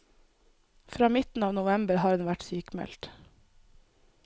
Fra midten av november har hun vært sykmeldt.